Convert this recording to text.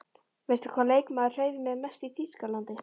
Veistu hvaða leikmaður hreif mig mest í Þýskalandi?